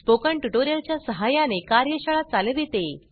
spoken tutorial च्या सहाय्याने कार्यशाळा चालविते